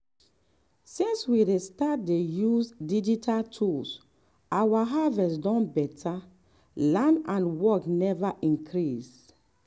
since we start dey use digital tools our harvest don better land and work never increase.